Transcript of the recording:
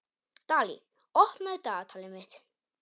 Dalí, opnaðu dagatalið mitt.